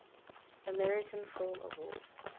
american film awards